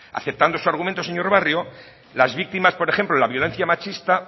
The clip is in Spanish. aceptando su argumento señor barrio las víctimas por ejemplo de la violencia machista